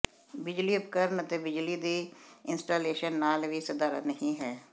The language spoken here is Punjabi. ਬਿਜਲੀ ਉਪਕਰਣ ਅਤੇ ਬਿਜਲੀ ਦੀ ਇੰਸਟਾਲੇਸ਼ਨ ਨਾਲ ਵੀ ਸਧਾਰਨ ਨਹੀ ਹੈ